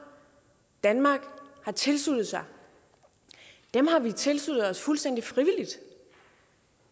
danmark har tilsluttet sig har vi tilsluttet os fuldstændig frivilligt